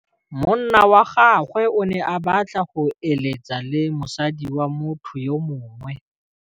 Monna wa gagwe o ne a batla go êlêtsa le mosadi wa motho yo mongwe.